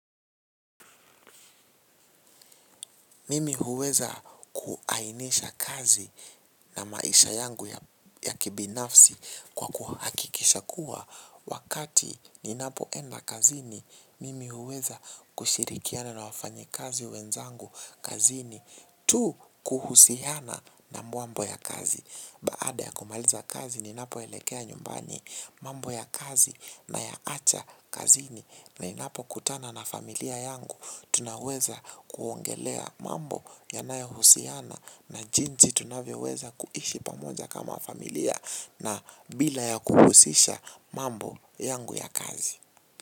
Mimi huweza kuainisha kazi na maisha yangu ya kibinafsi kwa kuhakikisha kuwa wakati ninapoenda kazini. Mimi huweza kushirikiana na wafanyi kazi wenzangu kazini tu kuhusihana na muambo ya kazi. Baada ya kumaliza kazi ninapoelekea nyumbani mambo ya kazi nayaacha kazini. Ninapokutana na familia yangu, tunaweza kuongelea mambo yanayohusiana na jinzi tunavyoweza kuishi pamoja kama familia na bila ya kuhusisha mambo yangu ya kazi.